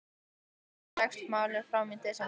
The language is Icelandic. Enn dregst málið fram í desember.